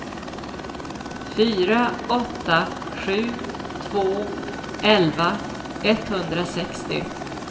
fyra åtta sju två elva etthundrasextio